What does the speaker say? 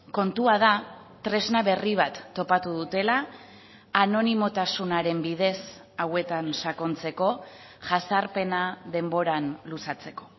kontua da tresna berri bat topatu dutela anonimotasunaren bidez hauetan sakontzeko jazarpena denboran luzatzeko